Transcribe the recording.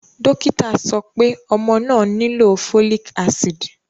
Dokita sọ pe ọmọ naa nilo folic acid